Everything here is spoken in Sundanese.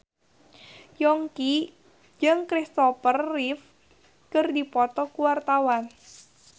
Yongki jeung Kristopher Reeve keur dipoto ku wartawan